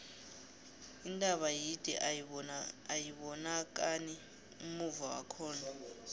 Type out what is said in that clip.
intaba yide ayibonakani ummuva wakhona